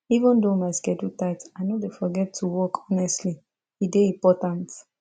even though my schedule tight i no dey forget to walk honestly e dey important